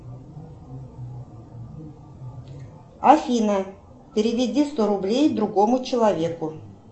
афина переведи сто рублей другому человеку